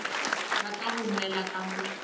rata go nwela ka mo